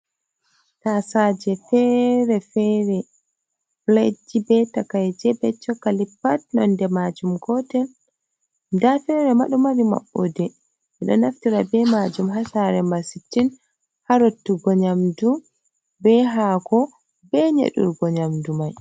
Tasaje fere fere, piletji be takaije be cokali pat nonde majum gotel. nda fere ma ɗomari maɓɓode ɓeɗo naftira be majum hasare ma sitin harottugo nyamdu, be hako, be nyedurgo nyamdu mai.